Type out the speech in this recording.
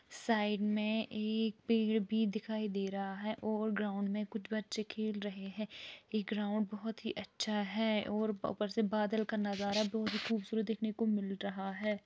Side में एक पेड़ भी दिखाई दे रहा है और ग्राउंड में कुछ बच्चे खेल रहे हैं ये ग्राउंड बहुत ही अच्छा है और ऊपर से बादल का नज़ारा बहुत खूबसूरत देखने को मिल रहा है।